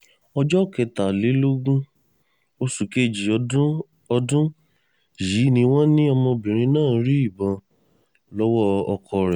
ọjọ́ kẹtàlélógún oṣù kejì ọdún ọdún yìí ni wọ́n ní ọmọbìnrin náà rí ìbọn lọ́wọ́ ọkọ rẹ̀